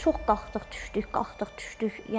Çox qalxdıq, düşdük, qalxdıq, düşdük.